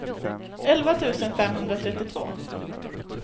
elva tusen femhundratrettiotvå